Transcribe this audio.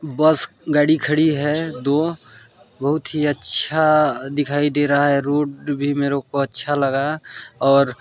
बस गाड़ी खड़ी है दो बोहत ही अच्छा दिखाई दे रहा है रोड भी मेरे को अच्छा लगा और--